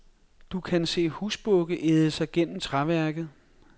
Du kan se husbukke æde sig gennem træværket.